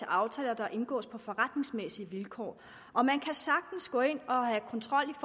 aftaler der indgås på forretningsmæssige vilkår og man kan sagtens gå ind og have kontrol